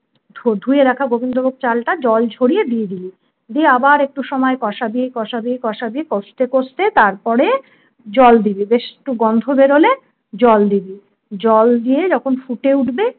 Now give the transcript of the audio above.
ধুয়ে রাখা গোবিন্দ ভোগ চালটা জল ছড়িয়ে দিয়ে দিবি। দিয়ে আবার একটু সময় কষাবি কষাবি কষাবি কষতে কষতে তারপরে জল দিবি বেশ একটু গন্ধ বেরোলে জল দিবি। জল দিয়ে যখন ফুটে উঠবে